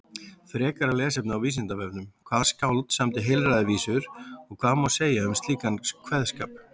Frekara lesefni á Vísindavefnum: Hvaða skáld samdi heilræðavísur og hvað má segja um slíkan kveðskap?